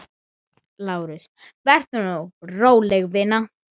LÁRUS: Vertu nú róleg, vina.